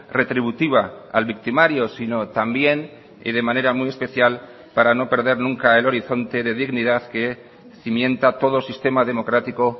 retributiva al victimario sino también y de manera muy especial para no perder nunca el horizonte de dignidad que cimienta todo sistema democrático